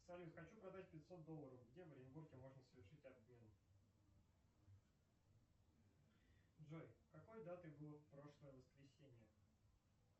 салют хочу продать пятьсот долларов где в оренбурге можно совершить обмен джой какой датой было прошлое воскресенье